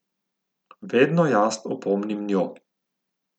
Vedno jaz opomnim njo.